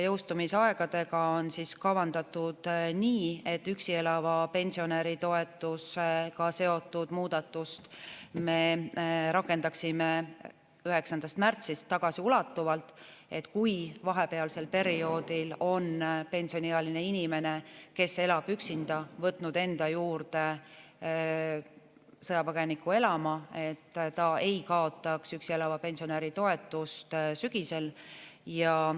Jõustumisaegadega on kavandatud nii, et üksi elava pensionäri toetusega seotud muudatuse me rakendaksime 9. märtsist tagasiulatuvalt, kui vahepealsel perioodil on pensioniealine inimene, kes elab üksinda, võtnud enda juurde elama sõjapõgeniku, et ta ei kaotaks üksi elava pensionäri toetust sügisel.